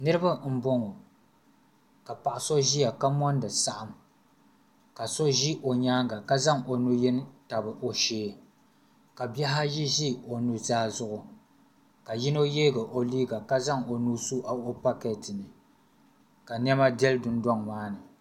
Niriba m boŋɔ ka paɣa so ʒia ka mondi saɣim ka so ʒi o nyaanga ka zaŋ o nu'yini tabi o shee ka bihi ayi ʒi o nu'zaa zuɣu ka yino yeegi o liiga ka zaŋ o nuu su o paketi ni ka niɛma deli dundoŋ maa ni.